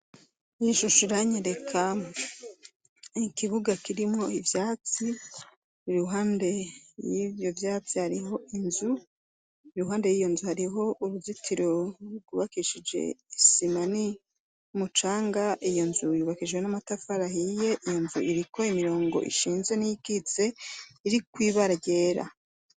Irishusha iranye lekamu ikibuga kirimwo ivyatsi ruhande y'ivyo vyatsi hariho inzu iruhande y'iyo nzu hariho uruzitiro rugubakishije isima ni umucanga iyo nzu yubakishiwe n'amatafarahiye iyo nzu irikoye imirongo ishinze n'ie wize iriko ibara ryera.